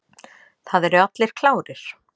Það eru allir klárir.